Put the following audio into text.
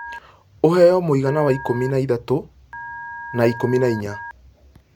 ũheo mũigana wa ikũmi na ithatũ na ikũmi na inya